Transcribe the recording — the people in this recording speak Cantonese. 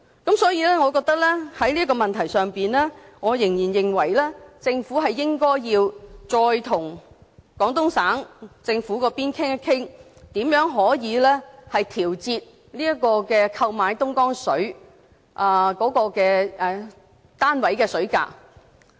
故此，在這個問題上，我仍然認為，政府應該再次與廣東省政府商討，如何調節購買東江水單位的水價。